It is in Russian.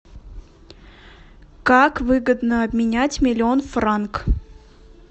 как выгодно обменять миллион франк